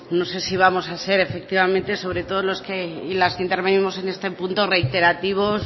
no sé si vamos a ser efectivamente sobre todo los que y las que intervenimos en este punto reiterativos